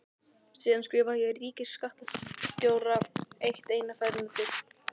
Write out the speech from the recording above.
Síðan skrifaði ég ríkisskattstjóra rétt eina ferðina til.